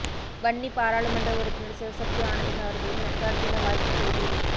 வன்னி பாராளுமன்ற உறுப்பினர் சிவசக்தி ஆனந்தன் அவர்களின் நத்தார் தின வாழ்த்துச் செய்தி